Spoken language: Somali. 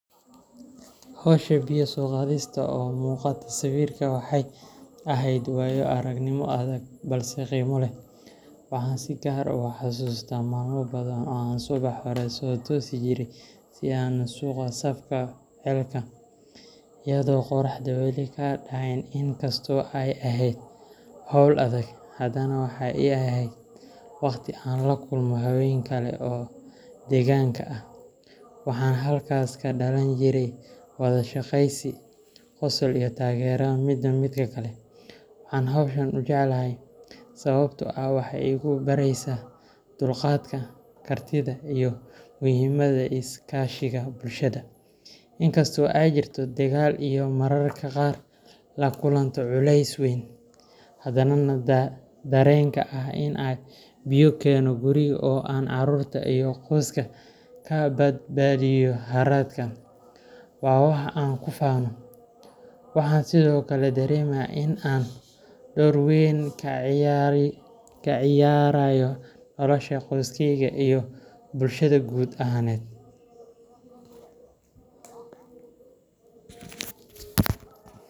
Hawsha biyo soo qaadista oo muuqata sawirka waxay ahayd waayo-aragnimo adag balse qiimo leh. Waxaan si gaar ah u xasuustaa maalmo badan oo aan subax hore soo toosi jiray si aan u sugo safka ceelka, iyadoo qorraxdu weli ka dhacayn. In kasta oo ay ahayd hawl adag, haddana waxay ii ahayd waqti aan la kulmo haween kale oo deegaanka ah, waxaana halkaas ka dhalan jiray wada sheekeysi, qosol iyo taageero midba midka kale. Waxaan hawshan u jeclahay sababtoo ah waxay igu baraysaa dulqaadka, kartida, iyo muhiimadda iskaashiga bulshada. Inkasta oo ay jirto daal iyo mararka qaar la kulanto culeys weyn, haddana dareenka ah in aan biyo keeno guriga oo aan carruurta iyo qoyska ka badbaadiyo haraadka, waa wax aan ku faano. Waxaan sidoo kale dareemaa in aan door weyn ka ciyaarayo nolosha qoyskayga iyo bulshada guud ahaaned.